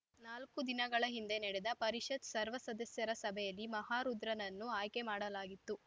ನಾಲ್ಕು ದಿನಗಳ ಹಿಂದೆ ನಡೆದ ಪರಿಷತ್‌ ಸರ್ವ ಸದಸ್ಯರ ಸಭೆಯಲ್ಲಿ ಮಹಾರುದ್ರರನನ್ನು ಆಯ್ಕೆ ಮಾಡಲಾಗಿತ್ತು